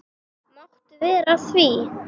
Já, sagði Skapti veikt.